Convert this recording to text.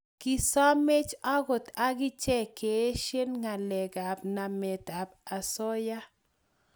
Kisomech agot akichek keeshe ngalek ab namet ab asoya